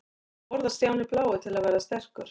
Hvað borðar Stjáni blái til að verða sterkur?